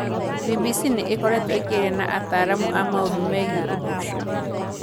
BBC nĩ ĩkoretwo ĩkĩaria na ataaramu a maũndũ megiĩ ũndũ ũcio.